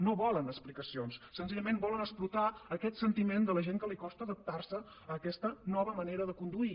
no volen explicacions senzillament volen explotar aquest sentiment de la gent que li costa adaptar se a aquesta nova manera de conduir